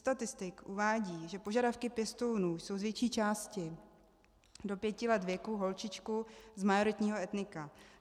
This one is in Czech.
Statistiky uvádějí, že požadavky pěstounů jsou z větší části do pěti let věku, holčičku z majoritního etnika.